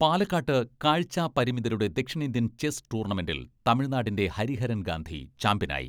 പാലക്കാട്ട് കാഴ്ച്ചാപരിമിതരുടെ ദക്ഷിണേന്ത്യൻ ചെസ് ടൂർണമെന്റിൽ തമിഴ്നാടിന്റെ ഹരിഹരൻ ഗാന്ധി ചാമ്പ്യനായി.